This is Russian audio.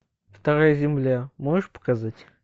вторая земля можешь показать